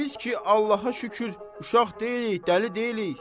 Biz ki, Allaha şükür, uşaq deyilik, dəli deyilik.